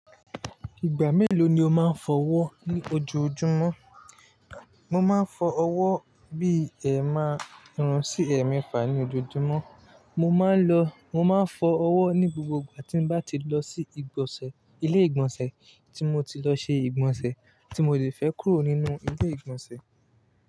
Ìgbà mélòó ni o máa ń fọ ọwọ́ ní ojoojúmọ́? Mo máa ń fọ ọwọ́ bí ẹ márun-un sí ẹ̀ mefá ní ojoojúmọ́. Mo máa ń lọ, mo máa ń fọ ọwọ́ ní gbogbo ìgbà tí n bá ti lọ sí ìgbọ̀nsẹ̀, ilé ìgbọ̀nsẹ̀ tí mo ti lọ ṣe ìgbọ̀nsẹ̀, tí mo lè fẹ́ kúrò nínú ilé ìgbọ̀nsẹ̀.